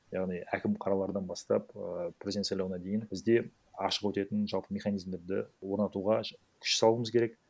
яғни әкім қалалардан бастап і президент сайлауына дейін бізде ашық өтетін жалпы механизмдерді орнатуға күш салуымыз керек